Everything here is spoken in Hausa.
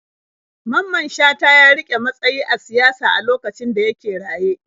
Mamman Shata ya riƙe matsayi a siyasa a lokacin da yake raye.